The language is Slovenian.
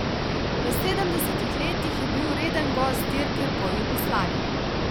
V sedemdesetih letih je bil reden gost dirke Po Jugoslaviji.